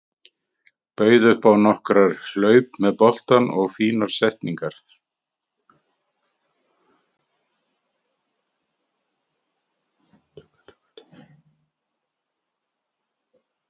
Bauð upp á nokkrar hlaup með boltann og fínar sendingar.